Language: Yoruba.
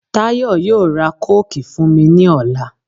Táyọ̀ yóò ra kóòkì fún mi ní ọ̀la.